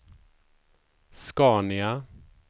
SCANIA